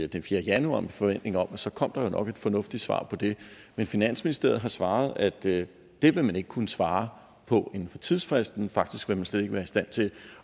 den fjerde januar med forventning om at så kom der jo nok et fornuftigt svar på det men finansministeriet har svaret at det ville man ikke kunne svare på inden for tidsfristen faktisk vil man slet ikke være i stand til